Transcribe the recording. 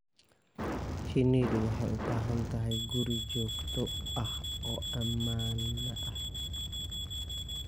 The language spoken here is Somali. Shinnidu waxay u baahan tahay guri joogto ah oo ammaan ah.